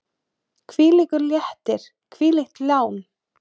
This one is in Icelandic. Hvílíkur léttir, hvílíkt lán!